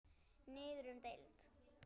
Niður um deild